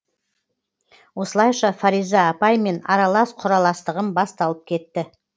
осылайша фариза апаймен аралас құраластығым басталып кетті